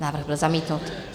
Návrh byl zamítnut.